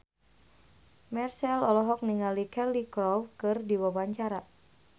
Marchell olohok ningali Cheryl Crow keur diwawancara